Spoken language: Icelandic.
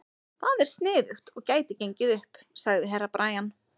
Það er sniðugt og gæti gengið upp, sagði Herra Brian.